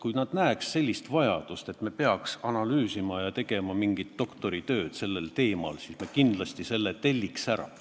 Kui nad näeksid vajadust, et me peaks seda kõike analüüsima ja tegema nagu mingit doktoritööd sellel teemal, siis nad kindlasti telliksid selle analüüsi ära.